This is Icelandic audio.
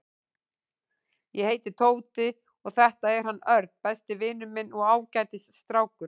Ég heiti Tóti og þetta er hann Örn, besti vinur minn og ágætis strákur.